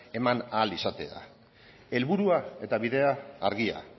eman ahal izatea helburua eta bidea argia